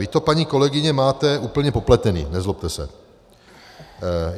Vy to, paní kolegyně, máte úplně popletené, nezlobte se.